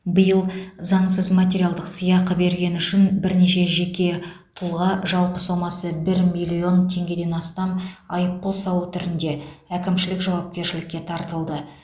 биыл заңсыз материалдық сыйақы бергені үшін бірнеше жеке тұлға жалпы сомасы бір миллион теңгеден астам айыппұл салу түрінде әкімшілік жауапкершілікке тартылды